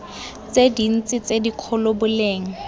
tse dintsi tse dikgolo boleng